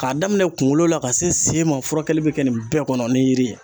K'a daminɛ kunkolo la ka se sen ma furakɛli bɛ kɛ nin bɛɛ kɔnɔ ni yiri ye.